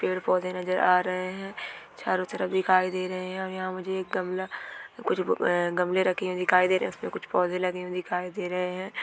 पेड़-पोधे नजर आ रहे है चारो तरफ दिखाय दे रहे है और यहाँ पर मुझे एक गमला कुछ अ गमले रखे हुए दिखाई दे रहे है| उसपे कुछ पोधे लगे हुए दिखाई दे रहे है।